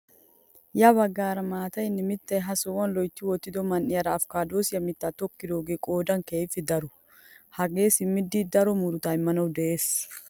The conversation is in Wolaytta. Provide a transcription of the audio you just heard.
Ya baggaara maatayinne mittay he sohuwaa loytti wottido man"iyaara apikaadosiyaa mittaa tokkidoogee qoodan keehippe daro! hagee simmidi daro murutaa immanawu de'ees!